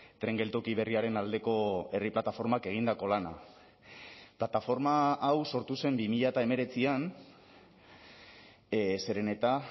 tren geltoki berriaren aldeko herri plataformak egindako lana plataforma hau sortu zen bi mila hemeretzian zeren eta